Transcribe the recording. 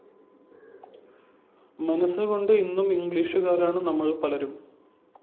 മനസ്സുകൊണ്ട് ഇന്നും ഇംഗ്ലീഷുകാരാണ് നമ്മള്‍ പലരും